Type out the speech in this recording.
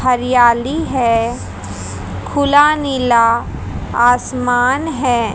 हरियाली है खुला नीला आसमान है।